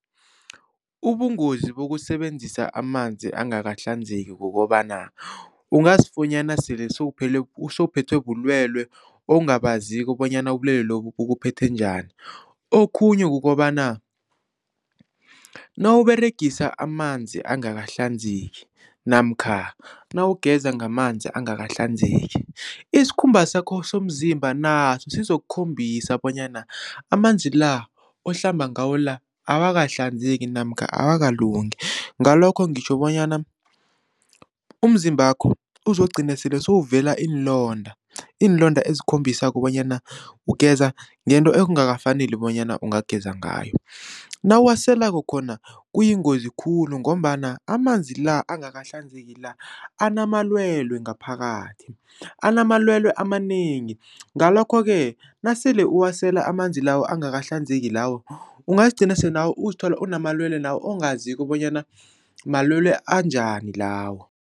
Ubungozi bokusebenzisa amanzi angakahlanzeki kukobana ungazifunyana sele sewuphethwe bulwelwe ongabaziko bonyana ubulwelwe lobu bukuphethe njani, okhunye kukobana nawUberegisa amanzi angakahlanzeki namkha nawugeza ngamanzi angakahlanzeki isikhumba sakho somzimba naso sizokukhombisa bonyana amanzi la ohlamba ngawo la awakahlanzeki namkha akakalungi. Ngalokho ngitjho bonyana umzimbakho uzokugcina sele sewuvela iinlonda, iinlonda ezikhombisako bonyana ugeza ngento ekungakafaneli bonyana ungageza ngayo. Nawuwaselako khona kuyingozi khulu ngombana amanzi la angakahlanzeki la anamalwelwe ngaphakathi, anamalwelwe amanengi ngalokho-ke nasele uwasela amanzi lawo angakahlanzeki lawo ungazigcina sele nawe uzithola unamalwelwe lawo ongaziko bonyana malwelwe anjani lawo.